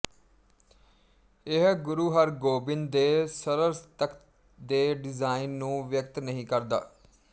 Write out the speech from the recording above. ਇਹ ਗੁਰੂ ਹਰਗੋਬਿੰਦ ਦੇ ਸਰਲ ਤਖ਼ਤ ਦੇ ਡਿਜਾਇਨ ਨੂੰ ਵਿਅਕਤ ਨਹੀਂ ਕਰਦਾ